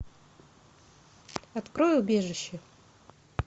открой убежище